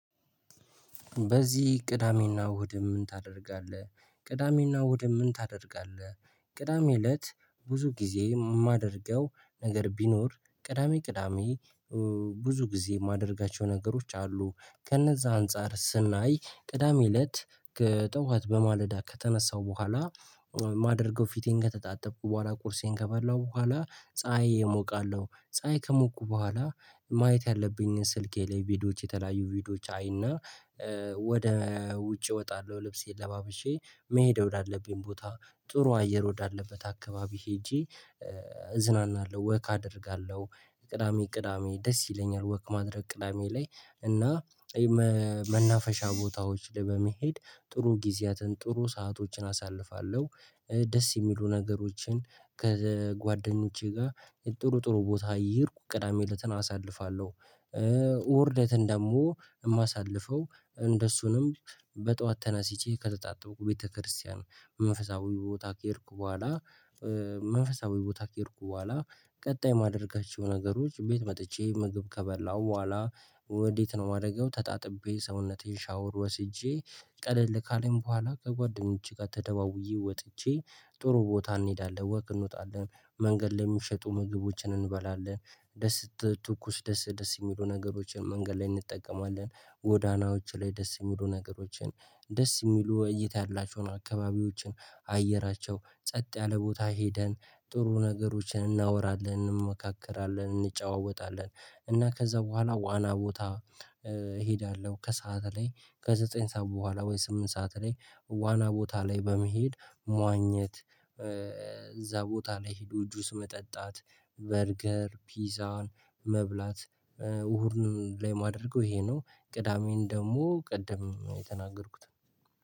በዚህ ቅዳሜና እሁድ ምን ታደርጋለህ? ቅዳሜና እሁድ ምን ታደርጋለህ? ቅዳሜ እለት ብዙ ጊዜ የማደርገው ነገር ቢኖር ቅዳሜ ቅዳሜ ብዙ ጊዜ የማደርጋቸው ነገሮች አሉ። ከእነዛ አንፃር ስናይ ቅዳሜ እለት ከጠዋት በማለዳ ከተነሳው በኋላ ማደርገው ፊቴን ከተጣጠብኩ በኋላ ቁርሴን ከበላሁ በኋላ ፀሀይ እሞቃለሁ። ፀሀይ ከሞኩ በኋላ ማየት ያለብኝን ስልኬ ላይ ቪዲዮዎች የተለያዩ ቪዲዮዎች አይና ወደ ውጭ እወጣለሁ። ልብሴን ለባብሼ መሄድ ወዳለብኝ ቦታ ጥሩ አየር ወዳለበት አካባቢ ሄጄ እዝናናለሁ ወክ አደርጋለሁ። ቅዳሜ ቅዳሜ ደስ ይለኛል ወክ ማድረግ ቅዳሜ ላይ። እና መናፈሻ ቦታዎች ላይ በመሄድ ጥሩ ጊዜያትን ጥሩ ሰአቶችን አሳልፋለሁ። ደስ የሚሉ ነገሮችን ከጓደኞቼ ጋር ጥሩ ጥሩ ቦታ እየሄድኩ ቅዳሜ እለትን አሳልፋለሁ። እሁድ እለትን ደግሞ የማሳልፈው እንደሱንም በጧት ተነስቼ ከተጣጥብኩ ቤተክርስቲያን መንፈሳዊ ቦታ ከሄድኩ በኋላ መንፈሳዊ ቦታ ከሄድኩ በኋላ ቀጣይ ማደርጋቸው ነገሮች ቤት መጥቼ ምግብ ከበላሁ በኋላ ወዴት ነው የማደርገው ተጣጥቤ ሰውነቴን ሻወር ወስጄ ቀለል ካለኝ በኋላ ከጓደኞቼ ጋር ተደዋውዬ ወጥቼ ጥሩ ቦታ እንሄዳለን። ወክ እንወጣለን። መንገድ ላይ የሚሸጡ ምግቦችን እንበላለን። ደስ ትኩስ ደስ ደስ የሚሉ ነገሮችን መንገድ ላይ እንጠቀማለን። ጎዳናዎች ላይ ደስ የሚሉ ነገሮችን ደስ የሚሉ እይታ ያላቸውን አካባቢዎችን አየራቸው ጸጥ ያለ ቦታ ሄደን ጥሩ ነገሮችን እናወራለን፤ እንመካከራለን፤ እንጨዋወታለን እና ከዛ በኋላ ዋና ቦታ እሄዳለሁ። ከሰአት ላይ ከዘጠኝ ሰዓት በኋላ ወይ ስምንት ሰዓት ላይ ዋና ቦታ ላይ በመሄድ መዋኘት እዛ ቦታ ላይ ሂዶ ጁስ መጠጣት በርገር ፒዛን መብላት እሁድን ላይ ማደርገው ይሄ ነው። ቅዳሜን ደግሞ ቅድም የተናገርኩት ነው።